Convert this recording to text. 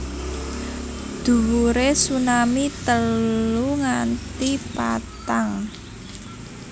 Dhuwure tsunami telu nganti patang